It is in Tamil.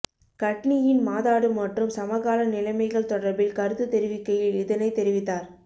கட்ணியின் மாதாடு மற்றும் சமகால நிலமைகள் தொடர்பில் கருத்து தெரிவிக்கையில் இதனைத் தெரிவித்தார்